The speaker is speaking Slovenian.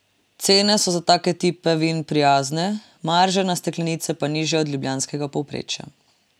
Cene so za take tipe vin prijazne, marže na steklenice pa nižje od ljubljanskega povprečja.